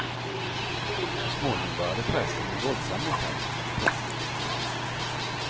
Så småningom började prästen bli våldsam mot henne. punkt